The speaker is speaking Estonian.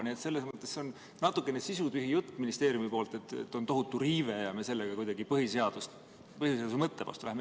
Nii et selles mõttes on natukene sisutühi jutt ministeeriumil, et see on tohutu riive ja me sellega läheme kuidagi põhiseaduse mõtte vastu.